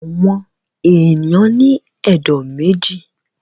Àwọn èèyàn ní ẹ̀dọ̀ méjì